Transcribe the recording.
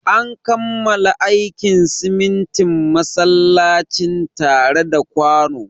An kammala aikin sitintin masallacin tare da kwano.